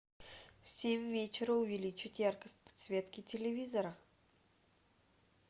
в семь вечера увеличить яркость подсветки телевизора